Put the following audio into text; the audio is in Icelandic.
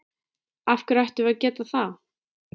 Af hverju ættum við að geta það?